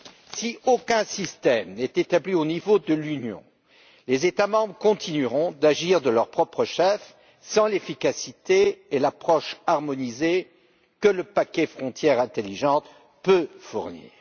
Si aucun système n'est établi au niveau de l'Union, les États membres continueront d'agir de leur propre chef, sans l'efficacité et l'approche harmonisée que le paquet Frontières intelligentes peut fournir.